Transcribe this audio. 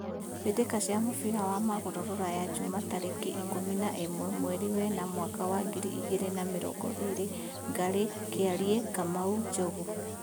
Mbĩtĩka cia mũbira wa magũrũ Ruraya Juma tarĩki ikũmi na ĩmwe mweri wena mwaka wa ngiri igĩrĩ na mĩrongo ĩrĩ: Ngarĩ, Kĩariĩ, Kamau, Njogu